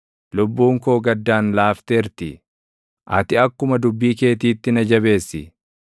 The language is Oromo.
Lubbuun koo gaddaan laafteerti; ati akkuma dubbii keetiitti na jabeessi.